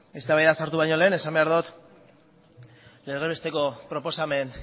eztabaidan sartu baino lehen esan behar dut legez besteko proposamen